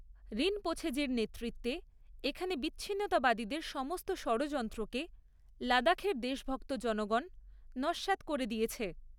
রিনপোছেজীর নেতৃত্বে এখানে বিচ্ছিন্নতাবাদীদের সমস্ত ষড়যন্ত্রকে লাদাখের দেশভক্ত জনগণ নস্যাৎ করে দিয়েছে।